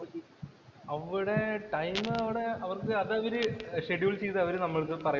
അവിടെ ടൈം അവിടെ അവര്‍ക്ക് അത് അവര്ഷെഡ്യൂള്‍ ചെയ്തു അവരു നമ്മൾടെ അടുത്ത് പറയും.